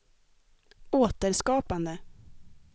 återskapande